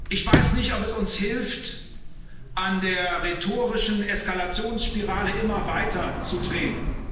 Ich weiß nicht, ob es uns hilft, an der rhetorischen Eskalationsspirale immer weiter zu drehen.